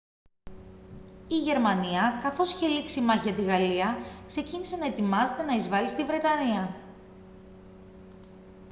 η γερμανία καθώς είχε λήξει η μάχη για τη γαλλία ξεκίνησε να ετοιμάζεται να εισβάλει στη βρετανία